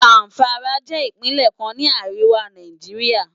Zamfara jè Ipinlè kán ni àriwá Náijiriá